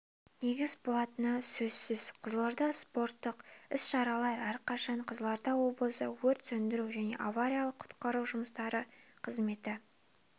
негіз болатыны сөсзсіз қызылордада спорттық іс-шаралар әрқашан қызылорда облысы өрт сөндіру және авариялық-құтқару жұмыстары қызметі